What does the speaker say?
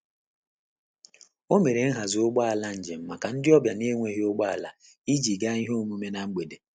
O mere nhazi ụgbọ ala njem maka ndị ọbịa na-enweghị ụgbọ ala iji gaa ihe omume na mgbede.